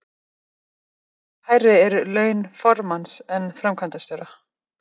Hversu miklu hærri eru laun formanns en framkvæmdastjóra?